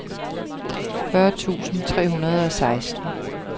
fyrre tusind tre hundrede og seksten